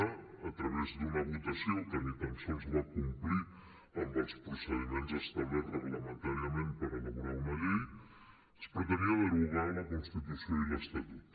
a través d’una votació que ni tan sols va complir amb els procediments establerts reglamentàriament per elaborar una llei es pretenia derogar la constitució i l’estatut